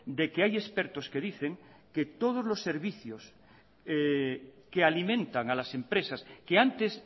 de que hay expertos que dicen que todos los servicios que alimentan a las empresas que antes